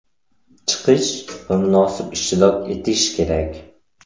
Chiqish va munosib ishtirok etish kerak.